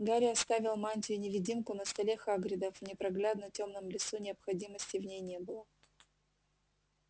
гарри оставил мантию-невидимку на столе хагрида в непроглядно тёмном лесу необходимости в ней не было